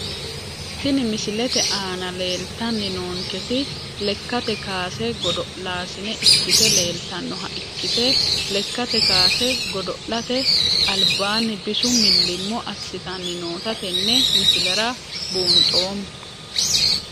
Tini misilete aana leeltani noonketi lekate kaase godo`laasine ikite leeltanoha ikite lekate kaase godo`late albaani bisu milimmo asitani noota tene misilera buunxoomo.